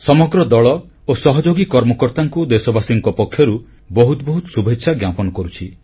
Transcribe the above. ସମଗ୍ର ଦଳ ଓ ସହଯୋଗୀ କର୍ମକର୍ତ୍ତାଙ୍କୁ ଦେଶବାସୀମାନଙ୍କ ପକ୍ଷରୁ ବହୁତ ବହୁତ ଶୁଭେଚ୍ଛା ଜ୍ଞାପନ କରୁଛି